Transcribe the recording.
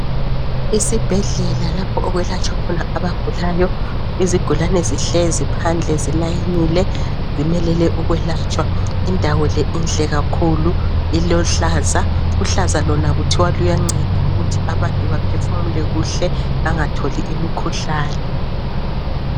Isibhedlela lapho okwelatshwa khona abagulayo .Izigulane zihlezi phandle zilayinile zimelele ukwelatshwa. Indawo le inhle kakhulu ilohlaza, uhlaza lona kuthiwa luyanceda ukuthi abantu baphefumule kuhle bangatholi umkhuhlane.